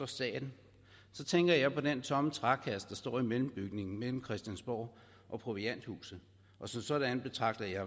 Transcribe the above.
staten så tænker jeg på den tomme trækasse der står i mellembygningen mellem christiansborg og provianthuset som sådan betragter jeg